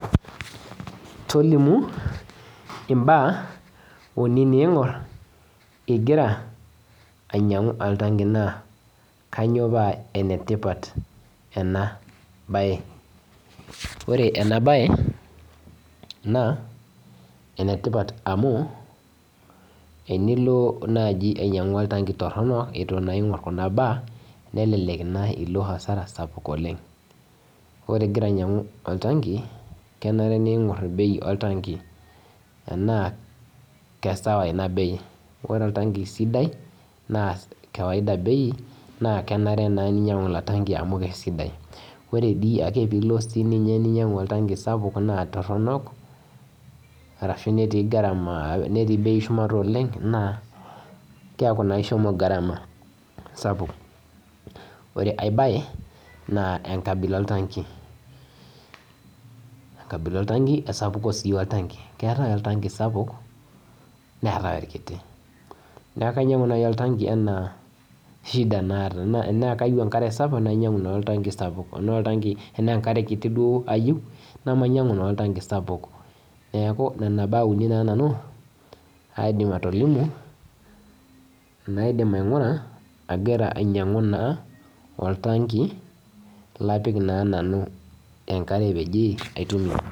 Tolimu mbaa umi ningur invira ainyangu oltangi na kanyio pa enetipat enabae ore enabae na enetipat amu tenilo ainyangu oltangi ituungur kunabaa na kelek ilo asara sapuk oleng ore ingira ainyangu oltangi kenare ningur bei oltangi sidai na kawaida bei na kenare ninyangu ilo tangi amu kesidai ore pilo niyieu ninyangu oltangi toronok netii bei shumata oleng na keaku na ishomo garama sapuk ore ai bae na enkabila oltangi na esapuko oltangi keetae oltangi sapuk neetae orkiti neaku kainyangu nai oltangi ana shida naata tanayieu nai enkare sapuk nainyangu oltangi sapuk ana enkare kiti ayieu namainyangu oltanki sapuk neaku nona baa aidim atolimu naidimi aingura agira aingori oltangi lapik enkare.